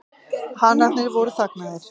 Hanarnir voru þagnaðir.